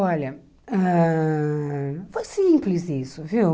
Olha, ãh foi simples isso, viu?